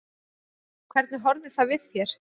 Hvernig horfði það við þér?